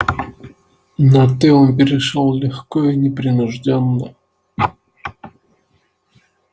на ты он перешёл легко и непринуждённо